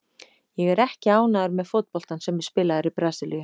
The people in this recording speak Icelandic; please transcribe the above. Ég er ekki ánægður með fótboltann sem er spilaður í Brasilíu.